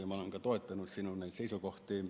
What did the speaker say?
Ja ma olen ka toetanud sinu seisukohti.